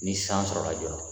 Ni san sɔrɔla joona